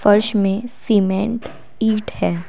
फर्श में सीमेंट ईंट है।